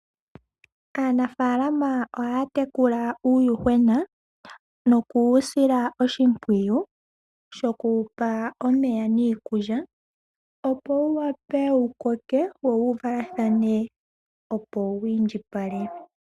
Aanafalama ohaya tekula uundjushona noku wu sila oshimpwiyu shoku wupa omeya niikulya opo wu wape wukoke wo wuvalathane opo wiindjipale.